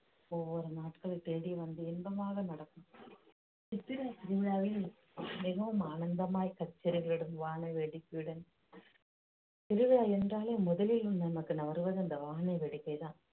ஒவ்வொரு நாட்களை தேடி வந்து இன்பமாக நடக்கும் சித்திரைத் திருவிழாவில் மிகவும் ஆனந்தமாய் கச்சேரிகளுடன் வான வேடிக்கையுடன் திருவிழா என்றாலே முதலில் நமக்கு வருவது அந்த வான வேடிக்கைதான்